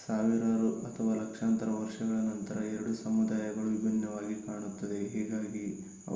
ಸಾವಿರಾರು ಅಥವಾ ಲಕ್ಷಾಂತರ ವರ್ಷಗಳ ನಂತರ ಎರಡು ಸಮುದಾಯಗಳು ವಿಭಿನ್ನವಾಗಿ ಕಾಣುತ್ತದೆ ಹೀಗಾಗಿ